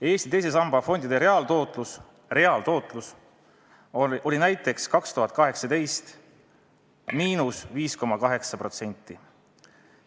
Eesti teise samba fondide reaaltootlus oli näiteks 2018. aastal –5,8%.